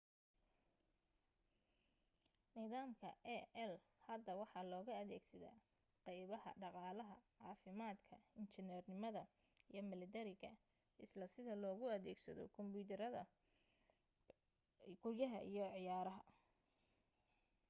nidaamka ai hadda waxa looga adeegsada qaybaha dhaqaalaha caafimaadka injineernimada iyo mallatariga isla sida loogu adeegsado barnaamijyada kumbiyuutarada guryaha iyo ciyaaraha